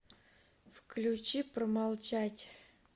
включи промолчать